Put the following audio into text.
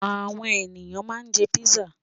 Àwọn ènìyàn ma ń jẹ́ písà